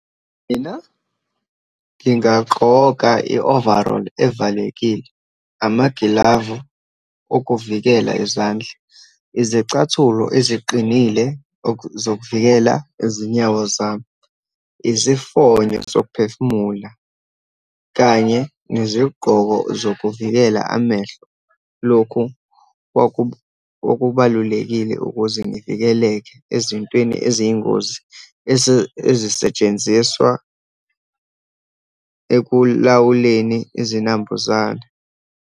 Mina ngingagqoka i-overall evalekile, amagilavu okuvikela izandla, izicathulo eziqinile zokuvikela izinyawo zami, izifonyo zokuphefumula, kanye nezigqoko zokuvikela amehlo. Lokhu kwakubalulekile ukuze ngivikeleke ezintweni eziyingozi, ezisetshenziswa ekulawuleni izinambuzane.